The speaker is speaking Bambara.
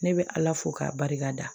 Ne bɛ ala fo k'a barika da